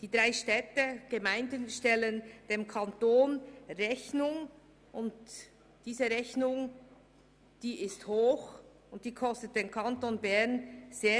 Die drei Städte stellen dem Kanton eine hohe Rechnung, nämlich über 7,5 Mio. Franken.